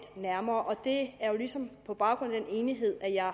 nærmere og det er jo ligesom på baggrund af den enighed at jeg